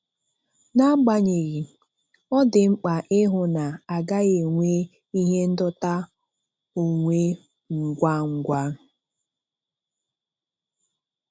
N'agbanyeghị, ọ dị mkpa ịhụ na-agaghi enwe ihe ndọta onwe ngwa ngwa.